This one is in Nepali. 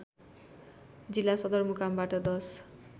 जिल्ला सदरमुकामबाट १०